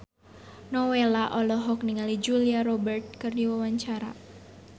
Nowela olohok ningali Julia Robert keur diwawancara